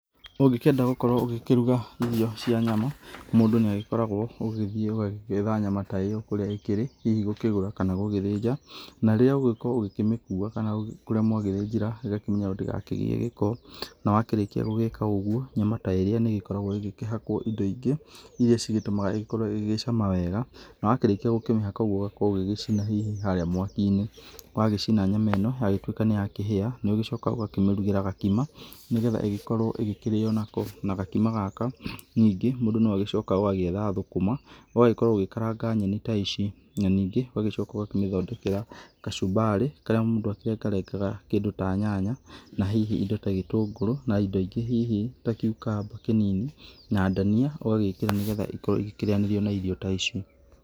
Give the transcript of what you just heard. Ũngĩkenda gũkwo ũkĩenda gũgĩkĩrũga irio cia nyama mũndũ nĩagĩkoragwo ũgĩgĩthiĩ ũgagĩgĩetha nyama ta ĩyo kũrĩa ĩgĩkĩrĩ hihi gũkĩgũra kana gũgĩthĩnja na rĩrĩa ũgũgĩgĩkorwo ũgĩkĩmĩkũa kana kũrĩa mwagĩthĩnjĩra ĩgakĩmenyererwo ndĩga kĩgĩe gĩko, na wakĩrĩkia gũgĩka ũgũo nyama ta ĩrĩa nĩ ĩgĩkoragwo ĩgĩkĩhakwo indo ingĩ ĩrĩa cĩgĩtiũmaga ĩgĩkorwo ĩgĩcama wega na wakĩrĩkĩa gũkĩmĩhaka ũgũo ũgakorwo ũgĩgĩcina hihi harĩa mwaki inĩ wagĩcina nyama ĩno yagĩtwĩka nĩ yakĩhĩa ũgagĩcoka ũgakĩmĩrũgĩra gakima nĩgetha ĩgĩkorwo ĩgĩkĩrĩo nako na gĩkĩma gaka nĩngĩ mũndũ nĩagĩcokaga ũgagĩetha thũkũma ũgagĩkorwo ũgĩkaranga nyenĩ ta ici na ningĩ ũgagĩcoka ũgakĩmĩthondekera kacũmbarĩ karĩa mũndũ agĩkĩrengarengaga kĩndũ ta nyanya na hihi indo ta gĩtũngũrũ na indo ingĩ hihi ta kĩũkamba kĩninĩ na ndania ũgagĩkĩra nĩgetha ĩgagĩkorwo ĩgĩkĩrĩanĩrio na irio ta ici.